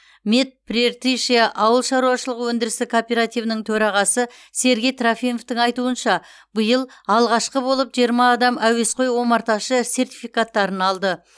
мед прииртышья ауыл шаруашылығы өндірістік кооперативінің төрағасы сергей трофимовтің айтуынша биыл алғашқы болып жиырма адам әуесқой омарташы сертификаттарын алды